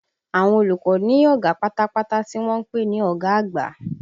Àwọn olùkọ́ ní ọ̀gá pátápátá tí wọ́n ń pè ní ọ̀gá àgbà